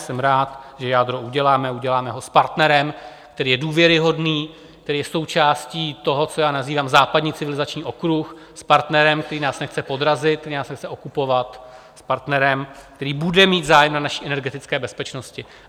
Jsem rád, že jádro uděláme, uděláme ho s partnerem, který je důvěryhodný, který je součástí toho, co já nazývám západní civilizační okruh, s partnerem, který nás nechce podrazit, který nás nechce okupovat, s partnerem, který bude mít zájem na naší energetické bezpečnosti.